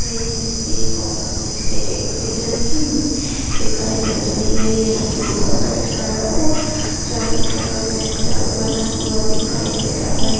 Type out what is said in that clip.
बहुत अच्छे से डेकोरेशन की हुई दिखाई दे रही है यह सोफा रेड कलर और चांदी कलर जैसा बना हुआ दिखाई दे रहा है।